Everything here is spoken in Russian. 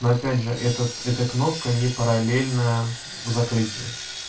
но опять же этот эта кнопка не параллельна закрытию